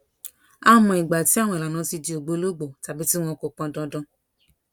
á mọ ìgbà tí àwọn ìlànà ti di ògbólógbòó tàbí tí wọn kò pọn dandan